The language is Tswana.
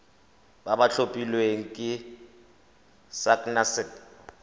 ba ba tlhophilweng ke sacnasp